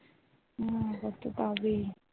হ্যাঁ করতে তো হবেই।